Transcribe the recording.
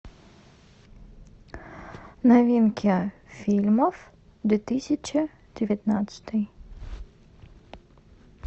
новинки фильмов две тысячи девятнадцатый